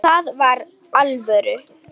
Það var alvöru.